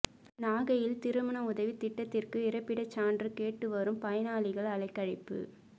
நாகையில் திருமண உதவி திட்டத்திற்கு இருப்பிட சான்று கேட்டு வரும் பயனாளிகள் அலைக்கழிப்பு